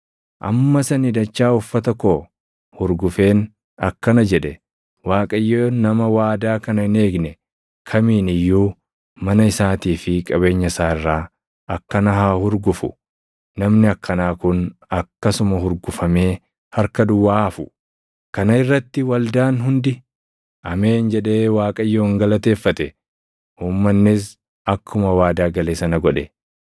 Ammas ani dachaa uffata koo hurgufeen akkana jedhe; “Waaqayyo nama waadaa kana hin eegne kamiin iyyuu mana isaatii fi qabeenya isaa irraa akkana haa hurgufu. Namni akkanaa kun akkasuma hurgufamee harka duwwaa haa hafu!” Kana irratti waldaan hundi, “Ameen” jedhee Waaqayyoon galateeffate. Uummannis akkuma waadaa gale sana godhe.